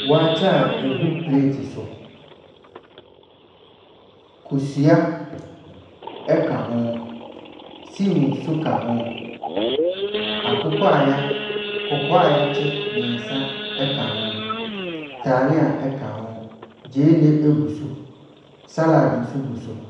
Waakye a ɛgu pleeti so. Kosua ka ho, stew nso ka ho, akokɔ a wɔaky kɔkɔɔ a wɔakye mmeɛnsa ka ho, talia ka ho, gyeene gu so. Sallad nso gu so.